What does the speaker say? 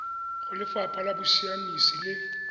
go lefapha la bosiamisi le